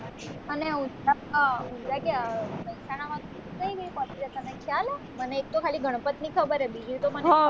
અને ઉંજાં ક્યાં મેહસાણા વાંકુ કઈ નઈ પછી જો તને ખ્યાલ હે મને એક તો ખાલી ગણપત ની ખબર હે બીજી તો મને